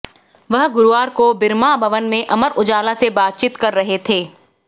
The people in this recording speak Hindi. वह गुरुवार को बिरमा भवन में अमर उजाला से बातचीत कर रहे थे